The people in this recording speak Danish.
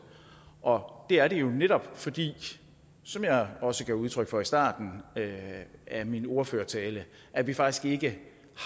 og det er det jo netop fordi som jeg også gav udtryk for i starten af min ordførertale at vi faktisk ikke